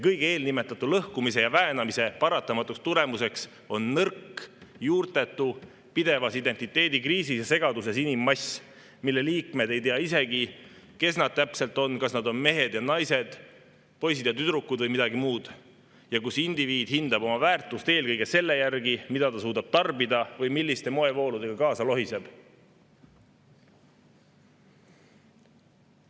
Kõige eelnimetatu lõhkumise ja väänamise paratamatu tulemus on nõrk, juurtetu, pidevas identiteedikriisis ja segaduses inimmass, mille liikmed ei tea isegi, kes nad täpselt on, kas nad on mehed ja naised, poisid ja tüdrukud või midagi muud, ja kus indiviid hindab oma väärtust eelkõige selle järgi, mida ta suudab tarbida või milliste moevooludega kaasa lohiseb.